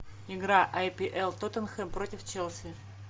игра апл тоттенхэм против челси